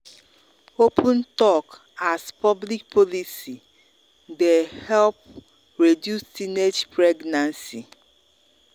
open talk as public policy dey help reduce teenage pregnancy.